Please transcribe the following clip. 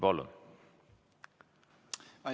Palun!